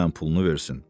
Denən pulunu versin.